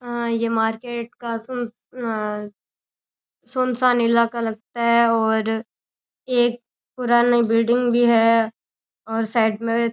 ये मार्केट का सुन सुनसान इलाका लगता है और एक पुरानी बिल्डिंग भी है और साईड में --